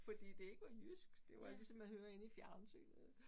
Fordi det ikke var jysk det var ligesom man hører inde i fjernsynet